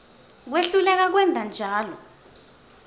kwehluleka kwenta njalo